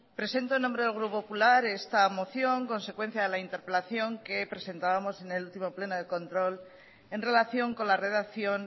presento en nombre del grupo popular esta moción consecuencia de la interpelación que presentábamos en el último pleno de control en relación con la redacción